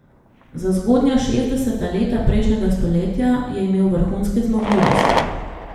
Za zgodnja šestdeseta leta prejšnjega stoletja je imel vrhunske zmogljivosti.